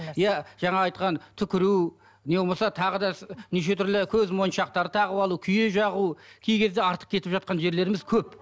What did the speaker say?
иә жаңағы айтқан түкіру не болмаса тағы да неше түрлі көзмоншақтар тағып алу күйе жағу кей кезде артық кетіп жатқан жерлеріміз көп